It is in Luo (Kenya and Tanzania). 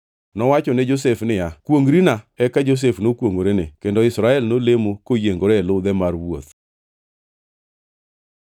Nowacho ne Josef niya, “Kwongʼrina.” Eka Josef nokwongʼorene, kendo Israel nolemo koyiengore e ludhe mar wuoth.